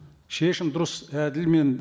шешім дұрыс әділ мен